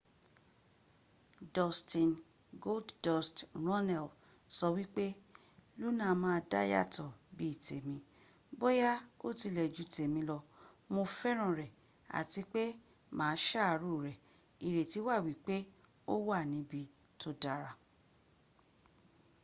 dustin goldust” runnels sọ wípé luna náà dá yàtọ̀ bí i tèmi...bóyá ó tilẹ̀ ju tèmi lọ...mo fẹ́ràn rẹ̀ àti pé mà á sàárò rẹ̀...ìrètí wà wípé ó wà níbi tó dára.